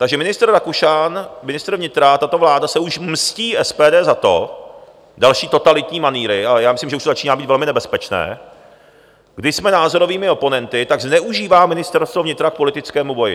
Takže ministr Rakušan, ministr vnitra, tato vláda, se už mstí SPD za to, další totalitní manýry, ale já myslím, že už to začíná být velmi nebezpečné, když jsme názorovými oponenty, tak zneužívá Ministerstvo vnitra k politickému boji.